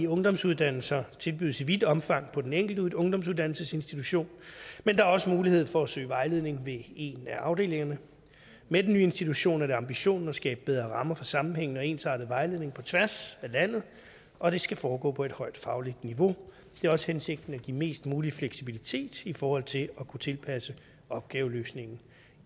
ungdomsuddannelser tilbydes i vidt omfang på den enkelte ungdomsuddannelsesinstitution men der er også mulighed for at søge vejledning ved en af afdelingerne med den nye institution er det ambitionen at skabe bedre rammer for sammenhæng og ensartet vejledning på tværs af landet og det skal foregå på et højt fagligt niveau det er også hensigten at give mest mulig fleksibilitet i forhold til at kunne tilpasse opgaveløsningen